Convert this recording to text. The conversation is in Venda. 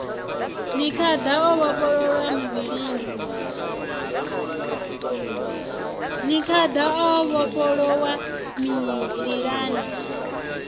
ni khada o vhofholowa mililani